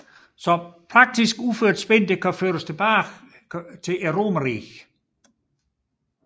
Så praktisk udført spin kan føres helt tilbage til romerriget